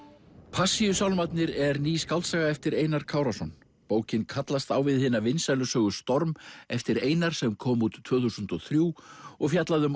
Passíusálmarnir er ný skáldsaga eftir Einar Kárason bókin kallast á við hina vinsælu sögu storm eftir Einar sem kom út tvö þúsund og þrjú og fjallaði um